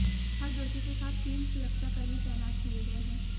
हर दोषी के साथ तीन सुरक्षाकर्मी तैनात किए गए हैं